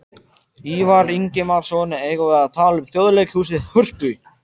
Ívar Ingimarsson: Eigum við að tala um Þjóðleikhúsið, Hörpu?